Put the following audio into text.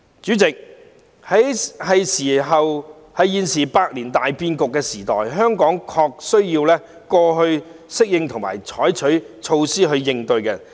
主席，在現在百年大變局的時代，香港的確需要適應和採取措施應對。